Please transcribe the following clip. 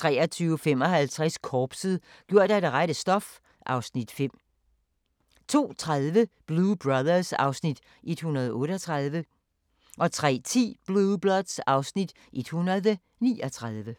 23:55: Korpset - gjort af det rette stof (Afs. 5) 02:30: Blue Bloods (Afs. 138) 03:10: Blue Bloods (Afs. 139)